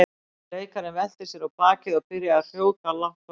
Leikarinn velti sér á bakið og byrjaði að hrjóta lágt og reglubundið.